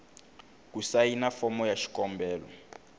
ku sayina fomo ya xikombelo